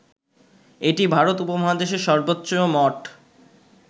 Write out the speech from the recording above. এটি ভারত উপমহাদেশের সর্বোচ্চ মঠ